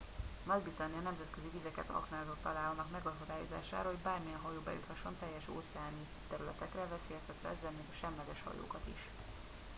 nagy britannia nemzetközi vizeket aknázott alá annak megakadályozására hogy bármilyen hajó bejuthasson teljes óceáni területekre veszélyeztetve ezzel még a semleges hajókat is